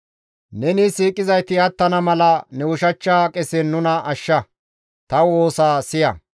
Neni siiqizayti attana mala ne ushachcha qesen nuna ashsha; ta woosa siya.